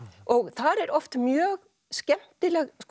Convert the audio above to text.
þar eru oft mjög skemmtileg